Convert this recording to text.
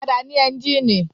Ọ̀kadà ní ẹ́ńjínì.